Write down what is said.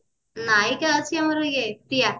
ନାୟିକା ଅଛି ଆମର ଅଛି ଇଏ ପ୍ରିୟା